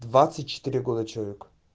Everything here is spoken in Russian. двадцать четыре года человеку